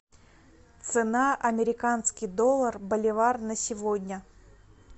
цена американский доллар боливар на сегодня